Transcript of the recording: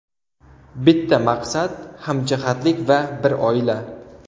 Bitta maqsad, hamjihatlik va bir oila.